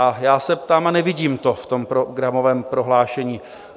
A já se ptám a nevidím to v tom programovém prohlášení.